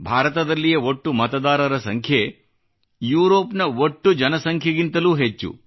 ಭಾರತದಲ್ಲಿಯ ಒಟ್ಟು ಮತದಾರರ ಸಂಖ್ಯೆ ಯುರೋಪ್ನ ಒಟ್ಟು ಜನಸಂಖ್ಯೆಗಿಂತಲೂ ಹೆಚ್ಚು